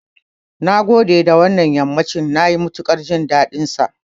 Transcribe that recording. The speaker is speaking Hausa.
Nagode da wannan yammacin, nayi matuƙar jin daɗinsa.